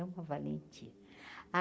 É uma valentia.